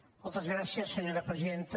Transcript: moltes gràcies senyora presidenta